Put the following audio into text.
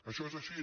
això és així